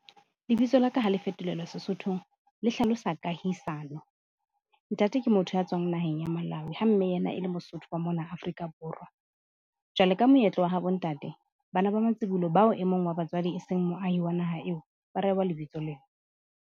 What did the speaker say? Lebitso la ka ha le fetolelwa Sesothong, le hlalosa kahisano. Ntate ke motho ya tswang naheng ya Malawi ha mme yena e le Mosotho wa mona Afrika Borwa. Jwale ka moetlo wa habo ntate, Bana ba matsibolo, bao e mong wa batswadi e seng moahi wa naha eo, ba re rehwa lebitso lena.